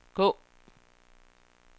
gå